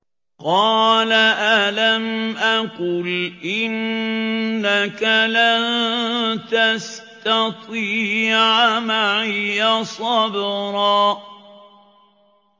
قَالَ أَلَمْ أَقُلْ إِنَّكَ لَن تَسْتَطِيعَ مَعِيَ صَبْرًا